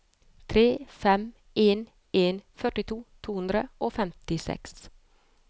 tre fem en en førtito to hundre og femtiseks